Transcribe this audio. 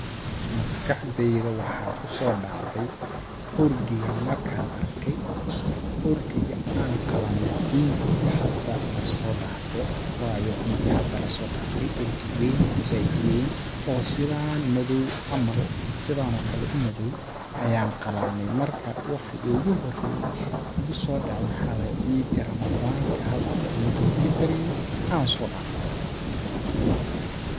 Maskaxdeyda waxaa kusoo dhacday orgi gan markaan arkay ,orgi gi aan qalane ciidi hada lasoo dhaafe, wayo ciidii hada laso dhaafe orgi weyn oo zaaid u weyn oo sidaan madoow camal oo sidaan oo kale u madoow ayaan qalanay, markaas waxa igu horeeye igusoo dhace waxaa waaye ciidi ramadaanka hada ciidul fitri aan soo dhaafnay.